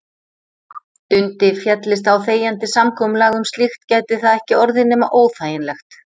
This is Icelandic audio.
Dundi féllist á þegjandi samkomulag um slíkt gæti það ekki orðið nema óþægilegt.